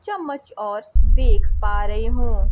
चम्मच और देख पा रही हूं।